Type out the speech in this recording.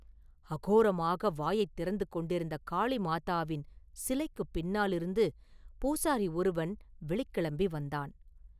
அகோரமாக வாயைத் திறந்து கொண்டிருந்த காளிமாதாவின் சிலைக்குப் பின்னாலிருந்து பூசாரி ஒருவன் வெளிக்கிளம்பி வந்தான்.